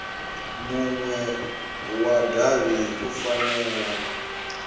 munwe wa davhi u fanela